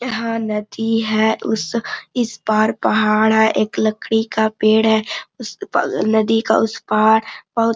यहां नदी है उस इस पार पहाड़ है एक लकड़ी का पेड़ है उस पार नदी का उस पार बहुत --